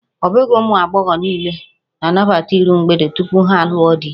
Ọ bụghị ụmụ agbọghọ niile na-anabata iru mgbede tupu ha alụọ di